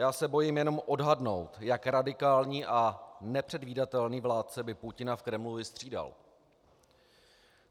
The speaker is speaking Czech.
Já se bojím jenom odhadnout, jak radikální a nepředvídatelný vládce by Putina v Kremlu vystřídal.